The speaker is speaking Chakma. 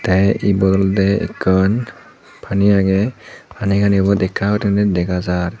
te ibot olodey ekkan pani agey pani gani ubot ekka gurinei dega jar.